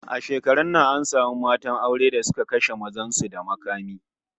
A shekarun nan an samu matan aure da suka kashe mazan su da makami